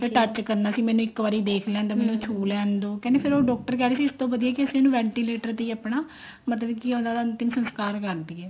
ਕੇ touch ਕਰਨਾ ਸੀ ਮੈਨੂੰ ਦੇਖ ਲੈਣ ਦੋ ਸ਼ੁ ਲੈਣ ਦੋ ਤੇ ਫ਼ੇਰ ਉਹ ਡਾਕਟਰ ਕਹਿ ਰਹੇ ਇਸ ਤੋਂ ਵਧੀਆ ਅਸੀਂ ਇਹਨੂੰ ventilator ਤੇ ਹੀ ਆਪਣਾ ਮਤਲਬ ਕੇ ਉਹਨਾ ਦਾ ਅੰਤਿਮ ਸੰਸਕਾਰ ਕਰ ਦਈਏ